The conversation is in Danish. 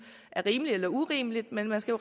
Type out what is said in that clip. er rimelige eller urimelige men man skal